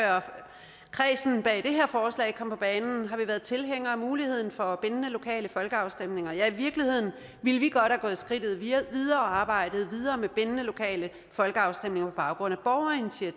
kredsen bag det her forslag kom på banen har været tilhængere af muligheden for bindende lokale folkeafstemninger ja i virkeligheden ville vi godt have gået skridtet videre og arbejdet videre med bindende lokale folkeafstemninger på baggrund